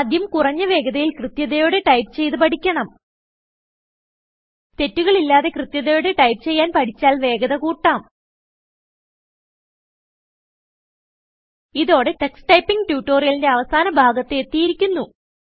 ആദ്യം കുറഞ്ഞ വേഗതയിൽ കൃത്യതയോടെ ടൈപ്പ് ചെയ്ത് പഠിക്കണം തെറ്റുകൾ ഇല്ലാതെ കൃത്യതയോടെ ടൈപ്പ് ചെയ്യാൻ പഠിച്ചാൽ വേഗത കൂട്ടാം ഇതോടെ ടക്സ് ടൈപ്പിംഗ് ട്യുട്ടോറിയലിന്റെ അവസാന ഭാഗത്ത് എത്തിയിരിക്കുന്നു